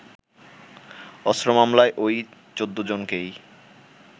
অস্ত্র মামলায় ওই ১৪ জনকেই